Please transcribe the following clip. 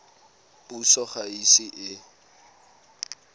puso ga e ise e